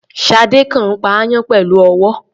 Ṣadé kàn ń pa aáyán pẹ̀lú ọwọ́ rẹ̀.